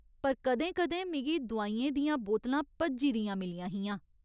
पर कदें कदें मिगी दुआइयें दियां बोतलां भज्जी दियां मिलियां हियां।